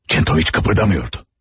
Kentoviç tərpənmədi.